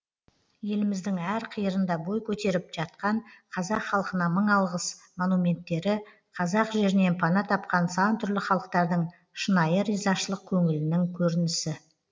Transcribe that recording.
еліміздің әр қиырында бой көтеріп жатқан қазақ халқына мың алғыс монументтері қазақ жерінен пана тапқан сан түрлі халықтардың шынайы ризашылық көңілінің көрінісі